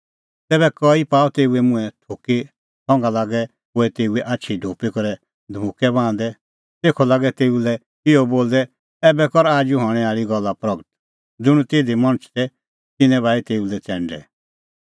तैबै कई पाअ तेऊए मुंहैं थुकी संघा लागै कोऐ तेऊए आछी ढोपी करै धमुक्कै बाहंदै तेखअ लागै तेऊ लै इहअ बोलदै ऐबै कर आजू हणैं आल़ी गल्ला प्रगट ज़ुंण तिधी जोधै मणछ तै तिन्नैं बाही तेऊ लै च़ैंडै